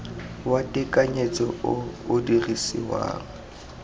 wa tekanyetso o o dirisiwang